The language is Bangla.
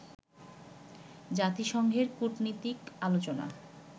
জাতিসংঘের কুটনীতিক আলোচনা